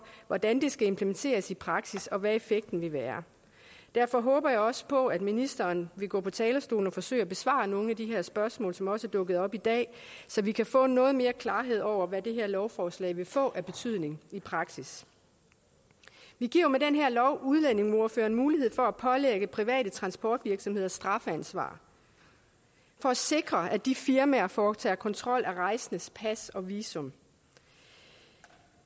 hvordan det skal implementeres i praksis og hvad effekten vil være derfor håber jeg også på at ministeren vil gå på talerstolen og forsøge at besvare nogle af de her spørgsmål som også er dukket op i dag så vi kan få noget mere klarhed over hvad det her lovforslag vil få af betydning i praksis vi giver jo med den her lov udlændingeministeren mulighed for at pålægge private transportvirksomheder strafansvar for at sikre at de firmaer foretager kontrol af rejsendes pas og visum